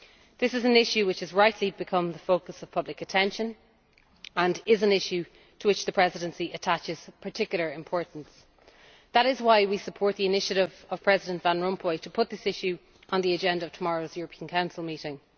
This is an issue which has rightly become the focus of public attention and is one to which the Presidency attaches particular importance. That is why we support the initiative of President Van Rompuy to put this issue on the agenda of tomorrow's European Council meeting.